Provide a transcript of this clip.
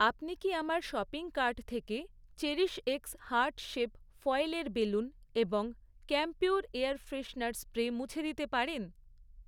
আপনি কি আমার শপিং কার্ট থেকে, চেরিশএক্স হার্ট শেপ ফয়েলের বেলুন এবং ক্যাম্পিউর এয়ার ফ্রেশনার স্প্রে মুছে দিতে পারেন?